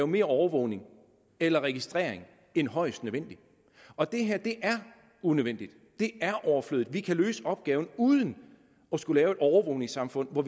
mere overvågning eller registrering end højst nødvendigt og det her er unødvendigt det er overflødigt vi kan løse opgaven uden at skulle lave et overvågningssamfund hvor